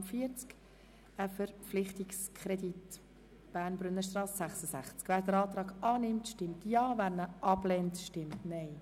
Wer den Kreditantrag annimmt, stimmt Ja, wer diesen ablehnt, stimmt Nein.